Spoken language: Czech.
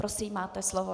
Prosím, máte slovo.